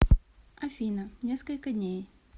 афина несколько дней